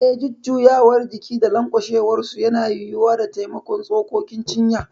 Eh, jujjuyawar jiki da lanƙwasuwarsu yana yiwuwa da taimakon tsokokin cinya.